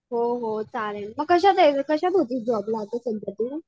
हो हो चालेल मग कशात कशात होती जॉबला?